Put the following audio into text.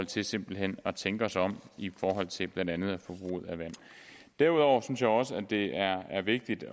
til simpelt hen at tænke sig om i forhold til blandt andet forbruget af vand derudover synes jeg også at det er vigtigt